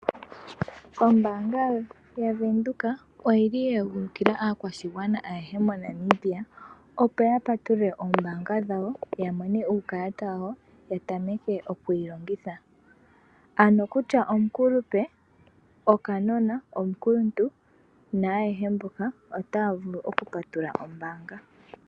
Ombaanga yaWindhoek oyeegulukila aakwashigwana ayeho moNamibia, opo yapatulule oombaanga dhawo yamone uukalata wayo ya tameke okuyi longitha. Ano kutya omukulupe, okanona, omukuluntu ayehe mboka otaya vulu okupatulula ombaanga.